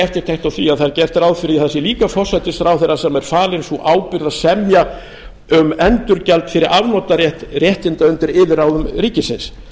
eftirtekt á því að það er gert ráð fyrir að það sé líka forsætisráðherra sem er falin sú ábyrgð að semja um endurgjald fyrir afnotarétt réttinda undir yfirráðum ríkisins